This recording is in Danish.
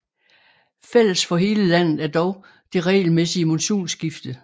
Fælles for hele landet er dog det regelmæssige monsunskifte